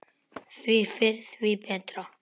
Því fyrr því betra.